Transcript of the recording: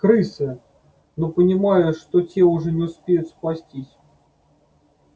крысы но понимая что те уже не успеют спастись